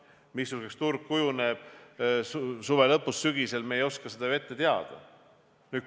Missuguseks turg kujuneb suve lõpus, sügisel, seda ei oska me ju ette teada.